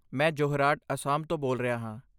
ਮੈਂ ਜੋਰਹਾਟ, ਅਸਾਮ ਤੋਂ ਬੋਲ ਰਿਹਾ ਹਾਂ।